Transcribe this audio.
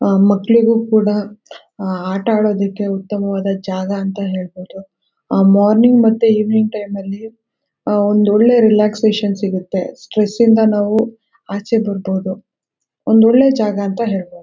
ಅಹ್ ಮ್ಯಾಕ್ಲಿಗೆ ಕೂಡ ಅಹ್ ಆಟ ಆಡಕ್ಕೆ ಉತ್ತಮವಾದ ಜಾಗ ಅಂತ ಹೇಳ್ಬಹುದು ಅಹ್ ಮಾರ್ನಿಂಗ್ ಮತ್ತು ಇವಿನಿಂಗ್ ಟೈಮೆಲ್ಲಿ ಅಹ್ ಅಹ್ ಒಂದು ಒಳ್ಳೆ ರೇಲಕ್ಸಾಷನ್ ಸಿಗುತ್ತೆ ಸ್ಟ್ರೆಸ್ಸಿಂದ ನಾವು ಆಚೇ ಬರ್ಬಹುದು ಒಂದು ಒಳ್ಳೆ ಜಾಗ ಅಂತ ಹೇಳ್ಬಹುದು.